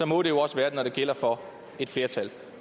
må det jo også være det når det gælder for et flertal